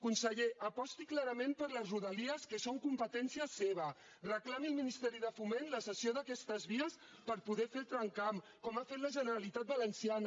conseller aposti clarament per les rodalies que són competència seva reclami al ministeri de foment la cessió d’aquestes vies per poder fer el tramcamp com ha fet la generalitat valenciana